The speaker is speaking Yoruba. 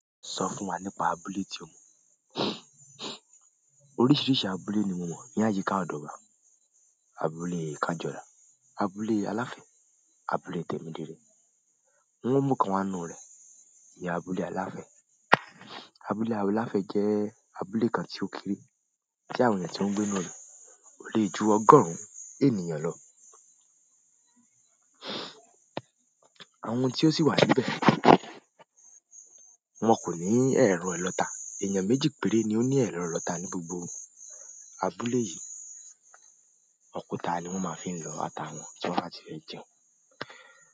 Sọ fún wa nípa abúlé tí o mọ. Oríṣìíríṣìí abúlé ni mo mọ̀, ní àyíká ọ̀dọ̀ wa. Abúlé Kájọ́la, abúlé Aláfẹ́, abúlé Tèmídire. Wọn mu kan wa nu rẹ̀, ìyá abúlé Aláfẹ́. Abúlé Aláfẹ́ jẹ́ abúlé kan tí ó kéré, tí àwọn ènìyàn tí ó ń gbé níbẹ̀ lọ ò le ju ọgọ́rùn-ún ènìyàn lọ. Àwọn tí ó sì wà níbé, wọn kò ní ẹ̀rọ ilọ́ta. Èèyàn méjì péré ni ó ní ẹ̀rọ ilọ́ta ní gbogbo abúlé yìí. Òkúta ni won ma fi n lo ata won ti won ba ti fe jẹun.